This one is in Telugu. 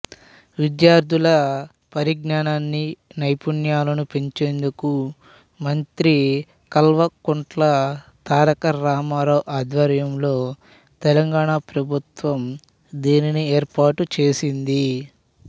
విద్యార్థుల పరిజ్ఞానాన్నీ నైపుణ్యాలనూ పెంచేందుకు మంత్రి కల్వకుంట్ల తారక రామారావు ఆధ్వర్యంలో తెలంగాణ ప్రభుత్వం దీనిని ఏర్పాటుచేసింది